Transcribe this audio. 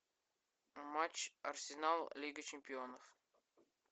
матч арсенал лига чемпионов